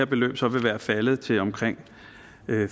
beløbet så vil være faldet til omkring